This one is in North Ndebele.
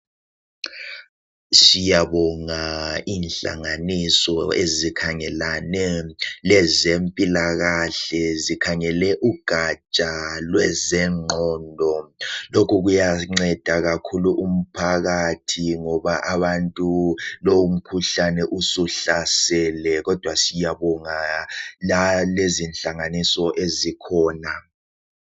Siyabonga inhlanganiso ezikhangelane lezempilakahle zikhangele ugatsha lwezengqondo. Lokhu kuyanceda kakhulu umphakathi ngoba lumkhuhlane suhlasele.